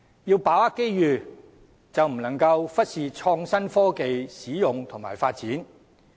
要把握機遇，便不能忽視創新科技的使用和發展。